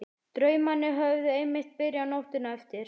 Draumarnir höfðu einmitt byrjað nóttina eftir.